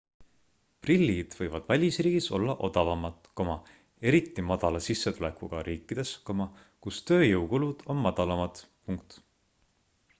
prillid võivad välisriigis olla odavamad eriti madala sissetulekuga riikides kus tööjõukulud on madalamad